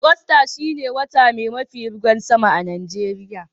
Agusta shine wota mai mafi ruwan sama a'Nijeriya.